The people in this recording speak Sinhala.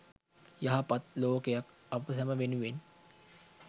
යහපත් ලෝකයක් අප සැම වෙනුවෙන්